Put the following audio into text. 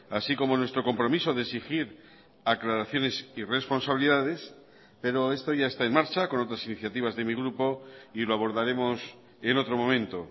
así como nuestro compromiso de exigir aclaraciones y responsabilidades pero esto ya está en marcha con otras iniciativas de mi grupo y lo abordaremos en otro momento